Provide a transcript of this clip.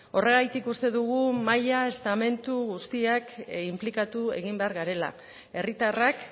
horregatik uste dugu maila estamentu guztiak inplikatu egin behar garela herritarrak